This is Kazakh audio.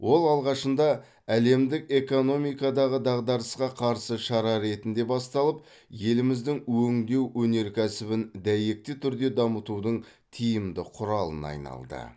ол алғашында әлемдік экономикадағы дағдарысқа қарсы шара ретінде басталып еліміздің өңдеу өнеркәсібін дәйекті түрде дамытудың тиімді құралына айналды